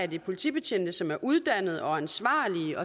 det politibetjente som er uddannede og ansvarlige